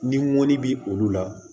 Ni ŋɔni bɛ olu la